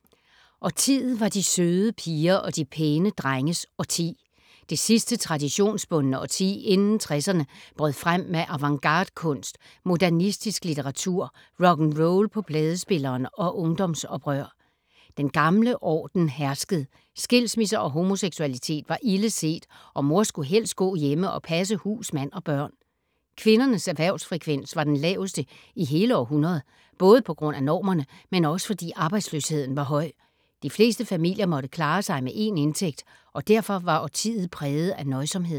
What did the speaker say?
Årtiet var de søde piger og de pæne drenges årti. Det sidste traditionsbundne årti inden 60’erne brød frem med avantgarde kunst, modernistisk litteratur, rock’n’roll på pladespilleren og ungdomsoprør. Den gamle orden herskede. Skilsmisser og homoseksualitet var ildeset og mor skulle helst gå hjemme og passe hus, mand og børn. Kvindernes erhvervsfrekvens var den laveste i hele århundredet. Både på grund af normerne, men også fordi arbejdsløsheden var høj. De fleste familier måtte klare sig med én indtægt og derfor var årtiet præget af nøjsomhed.